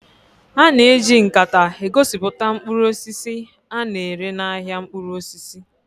A na-eji nkata egosipụta mkpụrụ osisi a na-ere n'ahịa mkpụrụ osisi